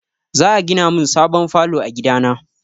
Za a gina min sabon falo a gida na.